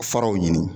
Faraw ɲini